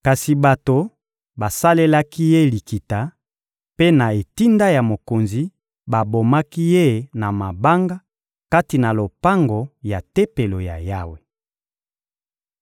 Kasi bato basalelaki ye likita; mpe na etinda ya mokonzi, babomaki ye na mabanga kati na lopango ya Tempelo ya Yawe.